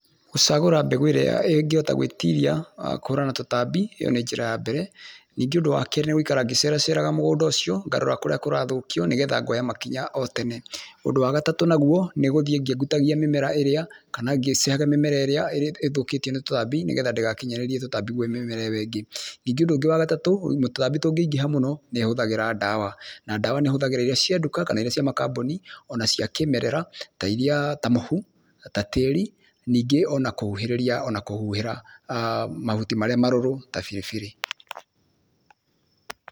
Gũcagũra mbegũ ĩrĩa ĩngĩhota gwĩtiria, wa kũhũrana na tũtambi, ĩo nĩ njĩra ya mbere, ningĩ ũndũ wa kerĩ nĩ gũikara ngĩceraceraga mũgũnda ũcio, ngarora kũrĩa kũrathũkio nĩ getha ngoya makinya o tene. Ũndũ wa gatatũ naguo, nĩ gũthiĩ ngĩengutagia mĩmera ĩrĩa kana ngĩcehaga mĩmera ĩrĩa ĩthũkĩtio nĩ tũtambi nĩ getha ndĩgakinyĩrĩrie tũtambi kwĩ mĩmera ĩo ĩngĩ. Ningĩ ũndũ ũngĩ wa gatatũ, tũtambi tũngĩingĩha mũno, nĩ ahũthagĩra ndawa na ndawa nĩ ahũthagĩra iria cia nduka, kana iria cia makambũni, o na cia kĩmerera ta iria, ta mũhu, ta tĩĩri, ningĩ o na kũhuhĩrĩria o na kũhuhĩra mahuti marĩa marũrũ ta biribiri.